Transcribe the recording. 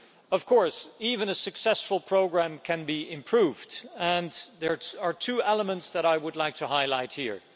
Of course, even a successful programme can be improved, and there are two elements that I would like to highlight here.